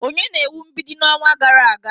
Onye na-ewu mgbidi n'ọnwa gara aga?